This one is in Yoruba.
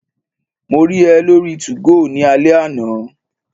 Mo rí ẹ lórí 2go ní alẹ́ àná